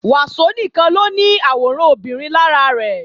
Wàsó nìkan ló ní àwòrán obìnrin lára rẹ̀